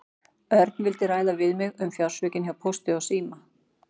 Örn vildi ræða við mig um fjársvikin hjá Pósti og síma.